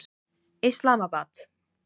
Islamabad